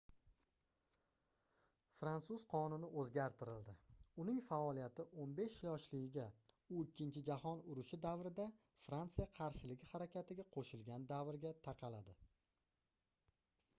fransuz qonuni oʻzgartirildi uning faoliyati 15 yoshligiga u ikkinchi jahon urushi davrida fransiya qarshiligi harakatiga qoʻshilgan davrga taqaladi